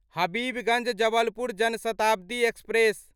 Habibganj Jabalpur Jan Shatabdi express